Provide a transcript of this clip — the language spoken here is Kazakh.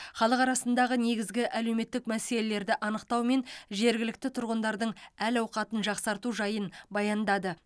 халық арасындағы негізгі әлеуметтік мәселелерді анықтау мен жергілікті тұрғындардың әл ауқатын жақсарту жайын баяндады